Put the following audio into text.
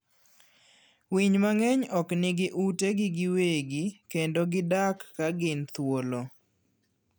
Winy mang'eny ok nigi utegi giwegi kendo gidak ka gin thuolo.